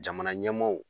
Jamana ɲɛmaaw